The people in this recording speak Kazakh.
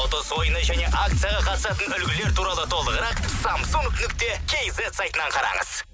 ұтыс ойынына және акцияға қатысатын үлгілер туралы толығырақ самсунг нүкте кейзет сайтынан қараңыз